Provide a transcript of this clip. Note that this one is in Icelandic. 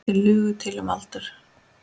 Þeir lugu til um aldur.